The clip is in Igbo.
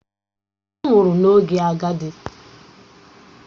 Ọ nwụrụ n’oge agadi